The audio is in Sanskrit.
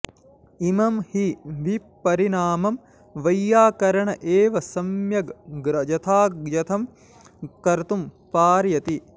इमं हि विपरिणामं वैयाकरण एव सम्यग् यथायथं कर्तुं पारयति